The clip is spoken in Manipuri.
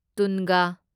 ꯇꯨꯟꯒ